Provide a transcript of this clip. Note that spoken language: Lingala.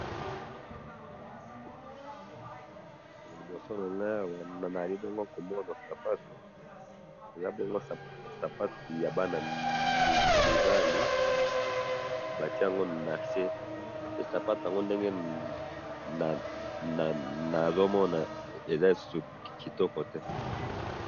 na liboso nangayi awa nazali bongo komona ba sapato eza bongo ba sapato ya bana mibali ,batiye yango nase sapato yango ndenge nazomona eza lisusu kitoko te.